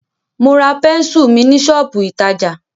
Mo ra pẹ́nsù mi ní ṣọ́pù ìtajà.